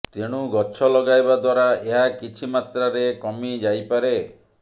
ତେଣୁ ଗଛ ଲଗାଇବା ଦ୍ୱାରା ଏହା କିଛି ମାତ୍ରାରେ କମି ଯାଇପାରେ